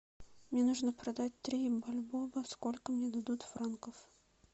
мне нужно продать три бальбоа сколько мне дадут франков